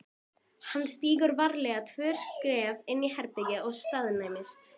Hann stígur varlega tvö skref inn í herbergið og staðnæmist.